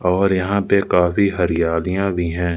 और यहां पे काफी हरियालियां भी हैं।